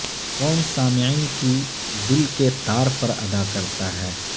کون سامعین کی دل کے تار پر ادا کرتا ہے